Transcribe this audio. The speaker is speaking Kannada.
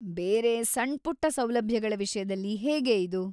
ಬೇರೆ ಸಣ್ಪುಟ್ಟ ಸೌಲಭ್ಯಗಳ ವಿಷ್ಯದಲ್ಲಿ ಹೇಗೆ ಇದು?